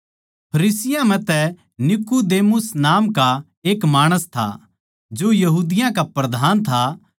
फरीसियाँ म्ह तै नीकुदेमुस नाम का एक माणस था जो यहूदियाँ का प्रधान था